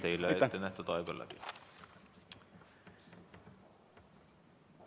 Teile ettenähtud aeg on läbi.